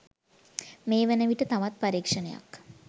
මේ වනවිට තවත් පරීක්ෂණයක්